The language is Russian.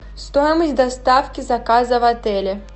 стоимость доставки заказа в отеле